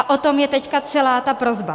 A o tom je teď celá ta prosba.